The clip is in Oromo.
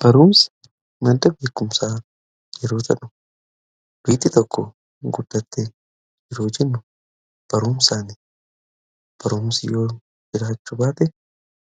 baruumsi marda beekumsaa yeroo tadhu biitti tokko guddatte jiroo jinnu baruumsaan baruumsi yoo jiraachu baate